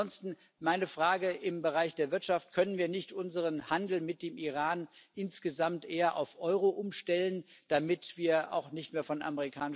Ansonsten meine Frage im Bereich der Wirtschaft Können wir nicht unseren Handel mit dem Iran insgesamt eher auf Euro umstellen, damit wir auch von amerikanischen Banken nicht mehr so abhängig sind?